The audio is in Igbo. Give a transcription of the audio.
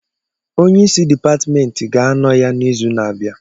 Onye isi dipatmentị ga-anọ ya n' izu na-abịa.